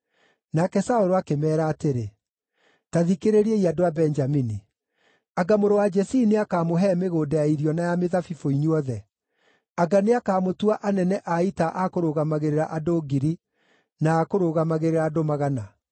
Nake Saũlũ akĩmeera atĩrĩ, “Ta thikĩrĩriai, andũ a Benjamini! Anga mũrũ wa Jesii nĩakamũhe mĩgũnda ya irio na ya mĩthabibũ inyuothe? Anga nĩakamũtua anene a ita a kũrũgamĩrĩra andũ ngiri, na a kũrũgamĩrĩra andũ magana?